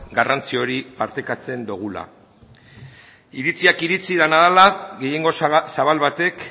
garrantzi hori partekatzen dogula iritziak iritzi dena dela gehiengo zabal batek